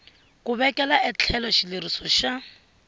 ku vekela etlhelo xileriso xa